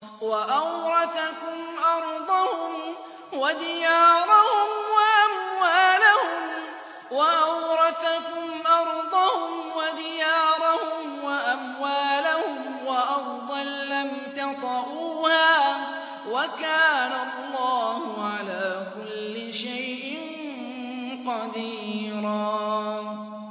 وَأَوْرَثَكُمْ أَرْضَهُمْ وَدِيَارَهُمْ وَأَمْوَالَهُمْ وَأَرْضًا لَّمْ تَطَئُوهَا ۚ وَكَانَ اللَّهُ عَلَىٰ كُلِّ شَيْءٍ قَدِيرًا